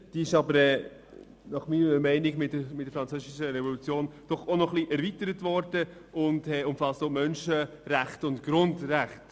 Diese wurde jedoch meiner Meinung nach durch die Französische Revolution ein wenig erweitert und umfasst auch die Menschen- und die Bürgerrechte.